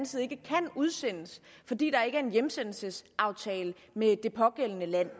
side ikke kan udsendes fordi der ikke er en hjemsendelsesaftale med det pågældende land